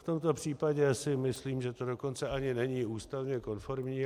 V tomto případě si myslím, že to dokonce ani není ústavně konformní.